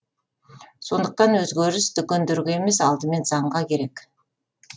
сондықтан өзгеріс дүкендерге емес алдымен заңға керек